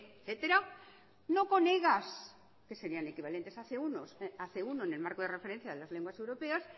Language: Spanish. etcétera no con egas que serian equivalentes a cien uno en el marco de referencia de las lenguas europeas